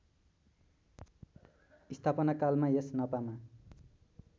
स्थापनाकालमा यस नपामा